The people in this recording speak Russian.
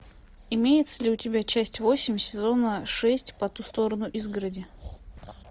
имеется ли у тебя часть восемь сезона шесть по ту сторону изгороди